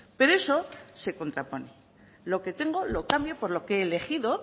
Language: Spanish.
pero eso se contrapone lo que tengo lo cambio por lo que he elegido